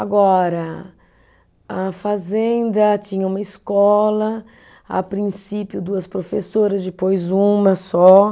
Agora, a fazenda tinha uma escola, a princípio duas professoras, depois uma só.